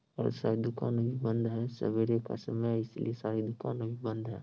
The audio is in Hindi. और शायद दुकाने भी बंद है सबेरे का समय है इसलिये सारी दुकाने बंद है।